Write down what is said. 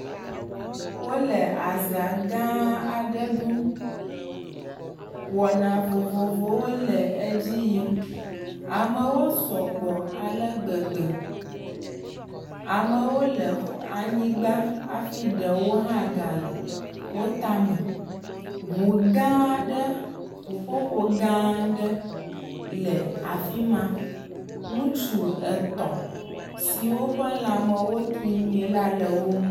Wole azã gãa aɖe ɖum. Wɔna vovovowo le edzi yim. Amewo sɔgbɔ ale gbegbe. Amewo le xɔ anyigba hafi ɖewo hã gale wo tame. ŋu gãaa ɖe, ŋuƒoƒo gãa ɖe le afi ma. Ŋutsu etɔ̃ siwo ƒe lãmewo tri nyuie la le wo ŋu.